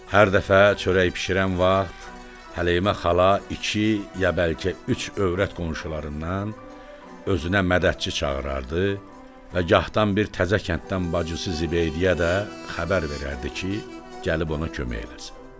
Hər dəfə çörək bişirən vaxt Həleyimə xala iki, ya bəlkə üç övrət qonşularından özünə mədədçi çağırardı və gahdan bir təzə kənddən bacısı Zibeydəyə də xəbər verərdi ki, gəlib ona kömək eləsin.